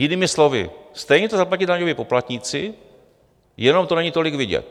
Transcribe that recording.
Jinými slovy, stejně to zaplatí daňoví poplatníci, jenom to není tolik vidět.